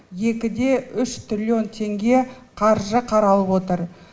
екі де үш триллион теңге қаржы қаралып отыр